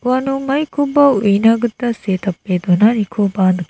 uano maikoba uina gita see tape donanikoba nik--